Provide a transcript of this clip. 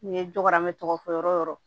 N ye n dɔgɔ n bɛ tɔgɔ fɔ yɔrɔ yɔrɔ